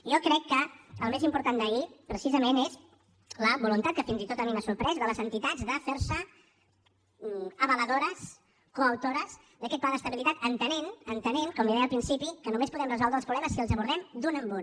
jo crec que el més important d’ahir precisament és la voluntat que fins i tot a mi m’ha sorprès de les entitats de fer se avaladores coautores d’aquest pla d’estabilitat entenent entenent com li deia al principi que només podem resoldre els problemes si els abordem d’un en un